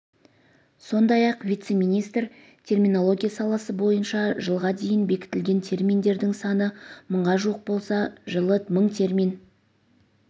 сондай-ақ вице-министр терминология саласы бойынша жылға дейін бекітілген терминдердің саны мыңға жуық болса жылы мың термин